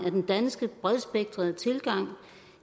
af den danske bredspektrede tilgang